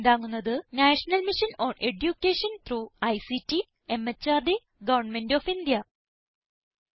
ഇതിനെ പിന്താങ്ങുന്നത് national mission on education through ICT MHRD government of India